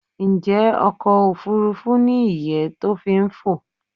Njẹ́ ọkọ̀ òfurufú ni ìyẹ́ to fi n fo?